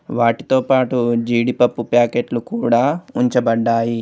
వాటితోపాటు జీడిపప్పు ప్యాకెట్లు కూడా ఉంచబడ్డాయి.